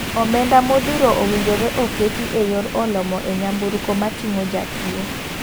Omenda modhuro owinjore oketi e yor olo moo e nyamburko matingo jatuo.